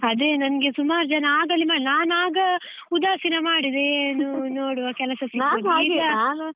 ಅದೇ ನಂಗೆ ಸುಮಾರು ಜನ ಆಗಲೇ ನಾನ್ ಆಗ ಉದಾಸೀನ ಮಾಡಿದೆ ಏನು ನೋಡುವ ಕೆಲಸ ಸಿಗ್ತದೆ .